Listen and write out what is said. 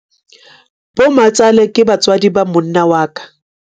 bomatsale ke batswadi ba monna wa ka